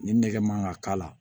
Ni nɛgɛ man ka k'a la